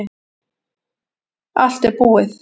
Allt er búið